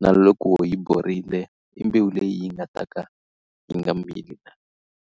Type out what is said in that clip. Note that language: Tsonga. na loko yi borile i mbewu leyi nga ta ka yi nga mili.